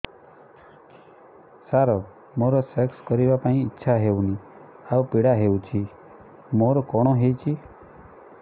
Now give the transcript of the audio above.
ସାର ମୋର ସେକ୍ସ କରିବା ପାଇଁ ଇଚ୍ଛା ହଉନି ଆଉ ପୀଡା ହଉଚି ମୋର କଣ ହେଇଛି